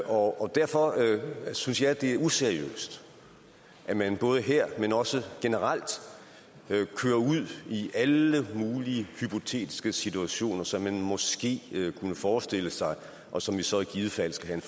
og derfor synes jeg det er useriøst at man både her men også generelt kører ud i alle mulige hypotetiske situationer som man måske kunne forestille sig og som vi så i givet fald skal have